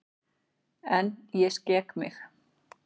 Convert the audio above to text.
En ég skek mig.